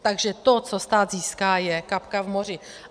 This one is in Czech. Takže to, co stát získá, je kapka v moři.